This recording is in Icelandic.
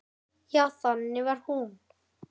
Já, þannig var hún.